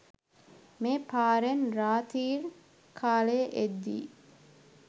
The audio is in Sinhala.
මේ පාරෙන් රාති්‍ර කාලයේ එද්දි